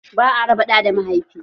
Ba a raba ɗa da mahaifi.